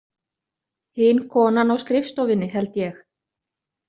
Hin konan á skrifstofunni, held ég.